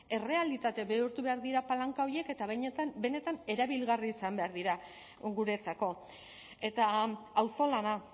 errealitate bihurtu behar dira palanka horiek eta benetan erabilgarria izan behar dira guretzako eta auzolana